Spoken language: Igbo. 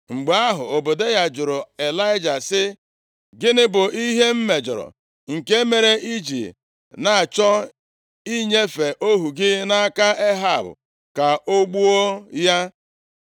Mgbe ahụ, Ọbadaya jụrụ Ịlaịja sị, “Gịnị bụ ihe m mejọrọ, nke mere i ji na-achọ inyefe ohu gị nʼaka Ehab ka o gbuo ya?